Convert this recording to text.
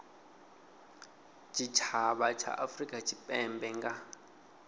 tshitshavha tsha afurika tshipembe nga